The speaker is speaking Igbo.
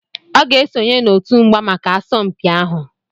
Ọ ga-esonye n'otu mgba maka asọmpi ahụ